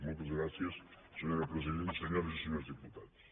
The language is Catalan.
moltes gràcies senyora presidenta senyores i senyors diputats